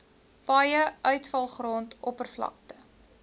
paaie uitvalgrond oppervlakte